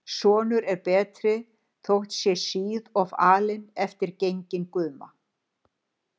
Sonur er betri, þótt sé síð of alinn eftir genginn guma.